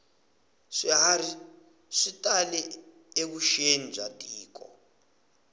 swiharhi swi tale evuxeni bya tiko